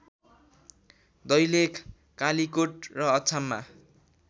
दैलेख कालिकोट र अछाममा